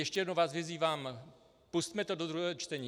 Ještě jednou vás vyzývám, pusťme to do druhého čtení.